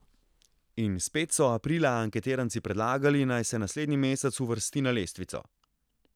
In spet so aprila anketiranci predlagali, naj se naslednji mesec uvrsti na lestvico.